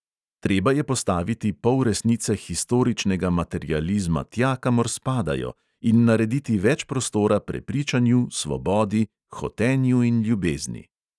Treba je postaviti polresnice historičnega materializma tja, kamor spadajo, in narediti več prostora prepričanju, svobodi, hotenju in ljubezni.